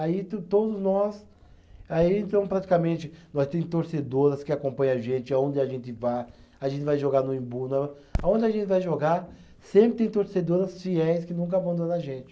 Aí to todos nós, aí então praticamente, nós tem torcedoras que acompanha a gente, aonde a gente vá, a gente vai jogar no Imbu na, aonde a gente vai jogar, sempre tem torcedoras fiéis que nunca abandona a gente.